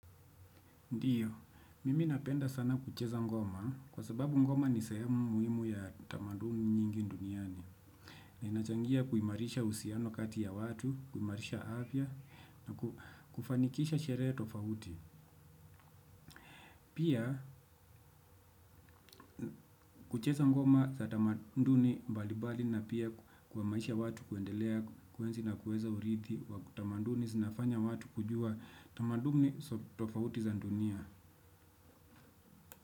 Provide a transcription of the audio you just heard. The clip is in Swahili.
Ndiyo, mimi napenda sana kucheza ngoma kwa sababu ngoma ni sehemu muhimu ya tamaduni nyingi duniani. Na inachangia kuimarisha usiano kati ya watu, kuimarisha apia na kufanikisha sherea tofauti. Pia, kucheza ngoma za tamaduni mbalimbali na pia kuwamasisha watu kuendelea kuenzi na kuweza urithi wa tamaduni zinafanya watu kujua tamaduni tofauti za ndunia.